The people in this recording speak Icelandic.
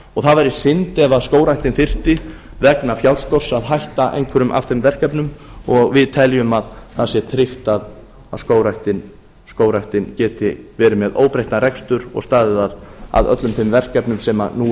og það væri synd ef skógræktin þyrfti vegna fjárskorts að hætta einhverjum af þeim verkefnum og við teljum að það sé tryggt að skógræktin geti verið með óbreyttan rekstur og staðið að öllum þeim verkefnum sem nú